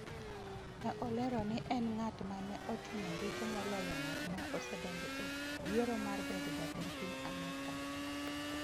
Ne olero ni en ng’at ma ne otimo richo moloyo ng’at ma osedonjo e yiero mar bedo jatend piny Amerka.